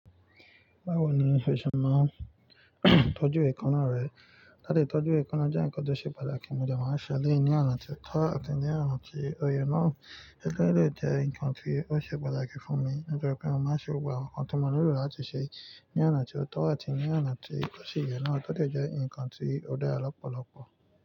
Báwo ni o ṣe máa tọ́jú èékánná rẹ? Láti tọ́jú èékánná jẹ́ nǹkan tó ṣe pàtàkì, mo jẹ máa n ṣẹ́ elẹ́yì ní oná ti o tọ́ àti ní oná tí òye náà. O de jẹ́ nǹkan tí ó ṣe pàtàkì fún mi. Nítorí pé mo máa ń ṣe gbogbo àwọn nǹkan tí mo nílò láti ṣe ní oná tí ó tọ́ àti ní oná tí ó sì yẹ náà. Tó de jẹ́ nǹkan tí ó dára lọ́pọ̀lọpọ̀.